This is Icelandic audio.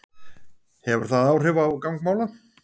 Hefur það áhrif á gang mála?